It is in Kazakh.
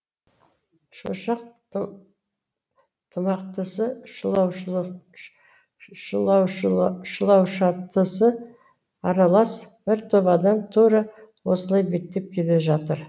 шошақ тымақтысы шұлаушаттысы аралас бір топ адам тура осылай беттеп келе жатыр